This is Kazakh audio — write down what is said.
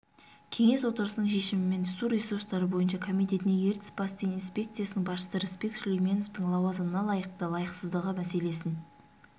кеңес отырысының шешімімен су ресурстары бойынша комитетіне ертіс бассейн инспекциясының басшысы рысбек сүлейменовтің лауазымына лайықты-лайықсыздығы мәселесін